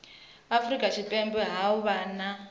afurika tshipembe ha vha na